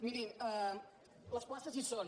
mirin les places hi són